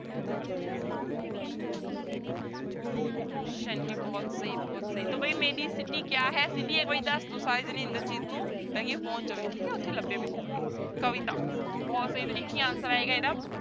ਸੈਂਟੀ ਬਹੁਤ ਸਹੀ ਬਹੁਤ ਸਹੀ ਤੋ ਬਈ ਕਿਆ ਹੈ ਇੱਕ ਵਾਰੀ ਦੱਸ ਦਓ ਸਾਰੇ ਜਾਣੇ ਇੰਦਰਜੀਤ ਨੂੰ ਤਾਂ ਕਿ ਇਹ ਪਹੁੰਚ ਜਾਵੇ ਠੀਕ ਹੈ ਉੱਥੇ ਲੱਭੇ ਮੈਨੂੰ ਜਾ ਕੇ, ਕਵਿਤਾ ਬਹੁਤ ਸਹੀ ਤਾਂ ਇੱਕ ਹੀ answer ਆਏਗਾ ਇਹਦਾ